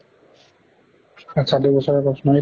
আচ্ছা দুই বছৰৰ course মানে